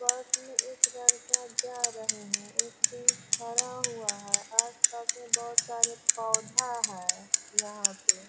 बस में एक लड़का जा रहे हैं | एक जेंट्स खड़ा हुआ है | आस पास में बहुत सारा पौधा है यहाँ पे |